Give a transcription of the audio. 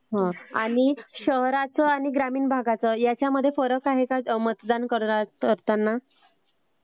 हो आणि शहराचं आणि ग्रामीण भागात फरक आहे का मतदान करताना?